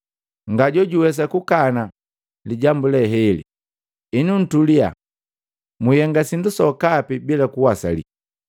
Nga jojuwesa kukana lijambu le heli. Henu, ntulia, mwihenga sindu sokapi bila kuwasali.